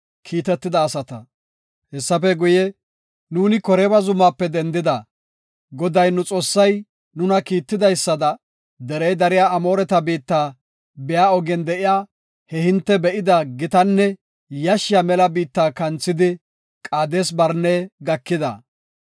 Hessafe guye, “Nuuni Koreeba zumaape dendida; Goday nu Xoossay nuna kiittidaysada, derey dariya Amooreta biitta biya ogen de7iya he hinte be7ida gitanne yashshiya mela biitta kanthidi Qaades-Barne gakida.